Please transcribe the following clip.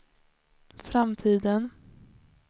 framtiden